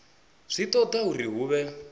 zwi toda uri hu vhe